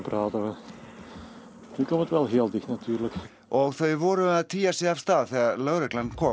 og þau voru að tygja sig af stað þegar lögreglan kom